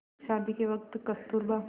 शादी के वक़्त कस्तूरबा